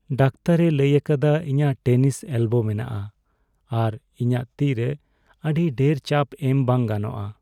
ᱰᱟᱠᱛᱚᱨᱼᱮ ᱞᱟᱹᱭ ᱟᱠᱟᱫᱟ, ᱤᱧᱟᱹᱜ ᱴᱮᱱᱤᱥ ᱮᱞᱵᱳ ᱢᱮᱱᱟᱜᱼᱟ ᱟᱨ ᱤᱧᱟᱹᱜ ᱛᱤ ᱨᱮ ᱟᱹᱰᱤ ᱰᱷᱮᱨ ᱪᱟᱯ ᱮᱢ ᱵᱟᱝ ᱜᱟᱱᱚᱜᱼᱟ ᱾